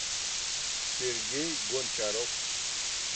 сергей гончаров